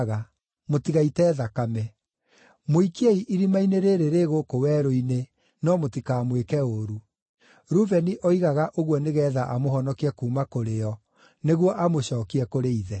Mũtigaite thakame. Mũikiei irima-inĩ rĩĩrĩ rĩ gũkũ werũ-inĩ, no mũtikamwĩke ũũru.” Rubeni oigaga ũguo nĩgeetha amũhonokie kuuma kũrĩ o, nĩguo amũcookie kũrĩ ithe.